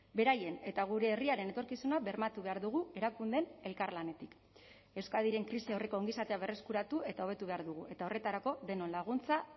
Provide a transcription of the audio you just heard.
beraien eta gure herriaren etorkizuna bermatu behar dugu erakundeen elkarlanetik euskadiren krisi aurreko ongizatea berreskuratu eta hobetu behar dugu eta horretarako denon laguntza